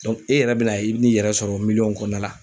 i yɛrɛ bɛna ye, i bɛ n'i yɛrɛ sɔrɔ miliyɔn kɔnɔna la.